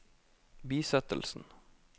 bisettelsen